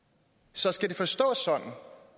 så skal det forstås sådan